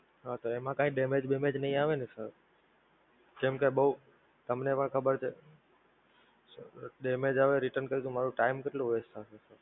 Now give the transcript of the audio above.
હા તો એમાં કાંઈ Damage damage નહિ આવે ને Sir? કેમકે બઉ તમને પણ ખબર છે, Damage આવે Return કરે તો મારો Time કેટલો West થશે!